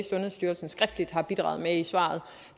sundhedsstyrelsen skriftligt har bidraget med i svaret